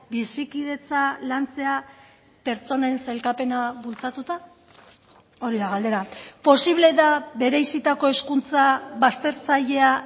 bizikidetza lantzea pertsonen sailkapena bultzatuta hori da galdera posible da bereizitako hezkuntza baztertzailea